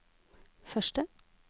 første